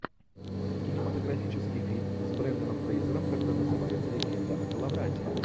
кинематографический фильм с бренданом фрейзером который называется легенда о коловрате